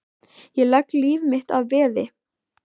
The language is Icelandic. Ég legg líf mitt að veði.